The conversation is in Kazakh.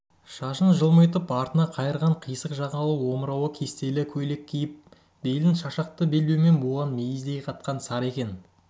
шашын жылмитып артына қайырған қисық жағалы омырауы кестелі көйлек киіп белін шашақты белбеумен буған мейіздей қатқан сары екен